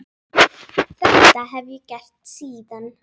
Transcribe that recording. Þetta hef ég gert síðan.